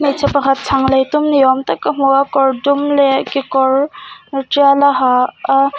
hmeichhe pakhat chhang lei tum ni awm tak ka hmu a kawr dum leh kekawr tial a ha a --